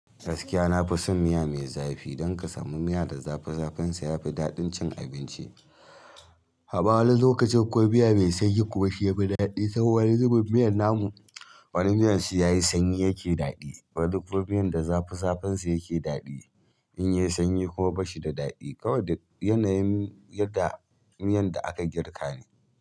Gaskiya nafi son miya mai zafi. Idan ka samu miya da zafi, zafan sa ya fi daɗin cin abinci. Ama wani lokacin ko miya mai sanyi kuma shi ya fi daɗi. Saboda wani zubin miyan namu, wani miyan sai ya yi sanyi yake daɗi. Wani kuma miyan da zafi zafin sa yake daɗi. In ya yi sanyi kuma ba shi da daɗi. Ko wane yanayin yadda miyan da aka girka ne.